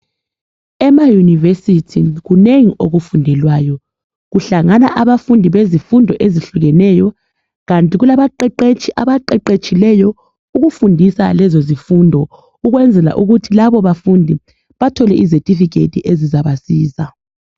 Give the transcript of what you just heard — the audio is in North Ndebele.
Emayunivesithi kunengi okufundelwayo. Kuhlangana abafundi bezifundo ezihlukeneyo. Kanti kulabaqeqetshi abaqeqetshileyo ukufundisa lezo zifundo. Ukwenzela ukuthi labo bafundi bathole izethifikhethi azizabasiza